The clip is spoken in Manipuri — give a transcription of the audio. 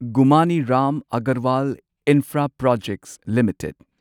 ꯒꯨꯃꯥꯅꯤ ꯔꯥꯝ ꯑꯒꯔꯋꯥꯜ ꯏꯟꯐ꯭ꯔꯥꯄ꯭ꯔꯣꯖꯦꯛꯁ ꯂꯤꯃꯤꯇꯦꯗ